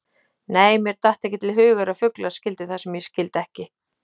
Nei, mér datt ekki til hugar að fuglar skildu það sem ég skildi ekki.